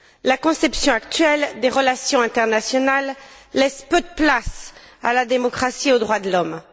La conception actuelle des relations internationales laisse peu de place à la démocratie et aux droits de l'homme.